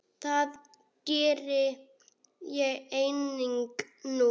Það geri ég einnig nú.